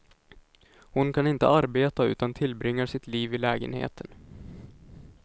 Hon kan inte arbeta utan tillbringar sitt liv i lägenheten.